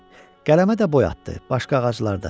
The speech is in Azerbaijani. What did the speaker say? Qələmə də boy atdı, başqa ağaclar da.